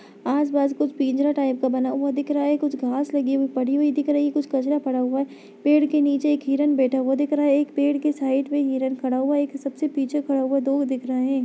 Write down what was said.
आस-पास कुछ पिंजरा टाइप का बना हुआ दिख रहा है कुछ घांस लगी हुई पड़ी हुई दिख रही कुछ कचरा पड़ा हुआ पेड़ के नीचे एक हिरन बैठा हुआ दिख रहा एक पेड़ के साइड में हिरन खड़ा हुआ एक सबसे पीछे खड़ा हुआ दो दिख रहे --